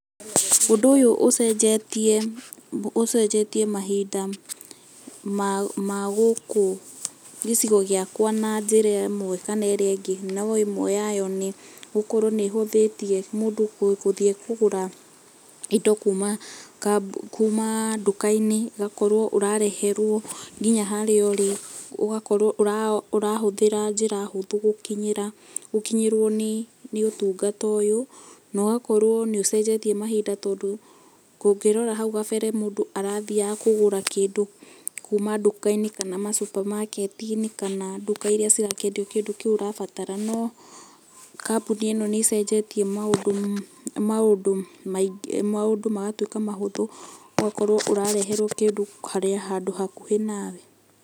Ũndũ ũyũ ũcenjetie, ũcenjetie mahinda ma gũkũ gĩcigo gĩakwa na njĩra ĩmwe kana ĩrĩa ĩngĩ, no ĩmwe yayo nĩ gũkorwo nĩ ĩhũthĩtie mũndũ gũthiĩ kũgũra indo kuma duka-inĩ, ĩgakorwo ũrareherwo nginya harĩa ũrĩ, ũgakorwo ũrahũthĩra njĩra hũthũ gũkinyĩra, gũkinyĩrwo nĩ ũtungata ũyũ, na ũgakorwo nĩ ũcenjetie mahinda tondũ ũngĩrora hau gabere, mũndũ arathiaga kũgũra kĩndũ kuma duka-inĩ kana masupamaketi-inĩ kana duka iria cirakĩendio kĩndũ kĩu ũrabatara no, kambuni ĩno nĩ ĩcenjetie maũndũ maingĩ maũndũ magatuĩka mahũthũ ũgakorwo ũrareherwo kĩndũ handũ hakuhĩ nawe.